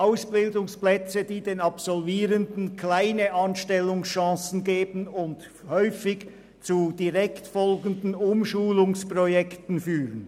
Es sind Ausbildungsplätze, die den Absolvierenden geringe Anstellungschancen geben und häufig zu direkt folgenden Umschulungen führen.